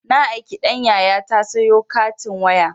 Na aiki ɗan yayata sayo katin waya